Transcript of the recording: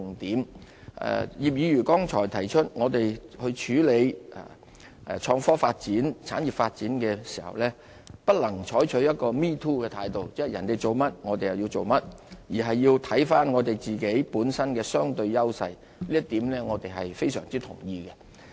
葉劉淑儀議員剛才提出我們處理創科發展、產業發展的時候，不能採取一個 "me too" 的態度，即人家做甚麼，我們就跟着做甚麼，而是要看看我們自己本身的相對優勢，這一點我們非常同意。